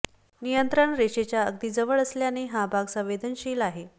नियंत्रण रेषेच्या अगदी जवळ असल्याने हा भाग संवेदनशील आहे